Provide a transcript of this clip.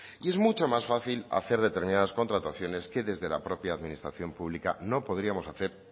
y es mucho más fácil hacer determinadas contrataciones que desde la propia administración pública no podríamos hacer